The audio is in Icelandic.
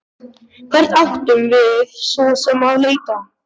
Hvert áttum við svo sem að leita?